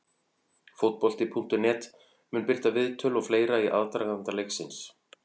Fótbolti.net mun birta viðtöl og fleira í aðdraganda leiksins.